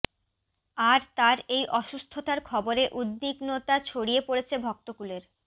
আর তার এই অসুস্থতার খবরে উদ্বিগ্নতা ছড়িয়ে পড়েছে ভক্তকূলের